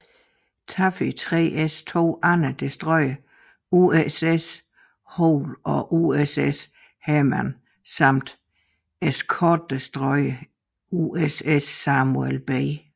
Taffy 3s to andre destroyere USS Hoel og USS Heermann samt eskortedestroyeren USS Samuel B